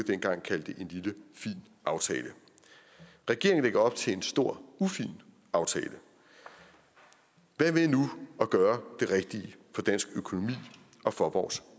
dengang kaldte en lille fin aftale regeringen lægger op til en stor ufin aftale hvad med at gøre det rigtige for dansk økonomi og for vores